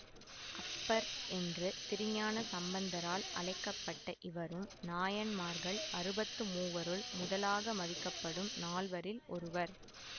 அப்பர் என்று திருஞான சம்பந்தரால் அழைக்க பட்ட இவரும் நாயன்மார்கள் அறுபத்துமூவருள் முதலாக மதிக்கப்படும் நால்வரில் ஒருவர்